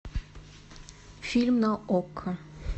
фильм на окко